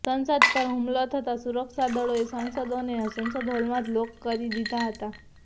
સંસદ પર હુમલો થતાં સુરક્ષાદળોએ સાંસદોને સંસદ હોલમાં જ લોક કરી દીધા હતા